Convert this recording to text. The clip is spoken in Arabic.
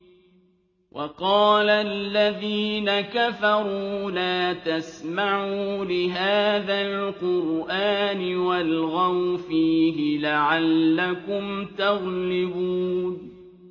وَقَالَ الَّذِينَ كَفَرُوا لَا تَسْمَعُوا لِهَٰذَا الْقُرْآنِ وَالْغَوْا فِيهِ لَعَلَّكُمْ تَغْلِبُونَ